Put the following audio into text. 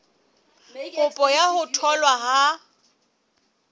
kopo ya ho tholwa ha